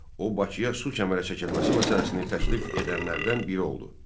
O Bakıya su kəmərə çəkilməsi məsələsini təklif edənlərdən biri oldu.